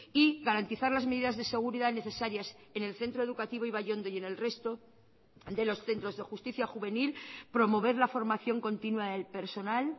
y garantizar las medidas de seguridad necesarias en el centro educativo ibaiondo y en el resto de los centros de justicia juvenil promover la formación continua del personal